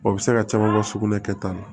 O bɛ se ka caman ka sugunɛ kɛta la